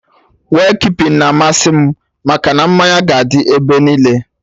Wake keeping na amasị m, maka na mmanya ga dị ebe niile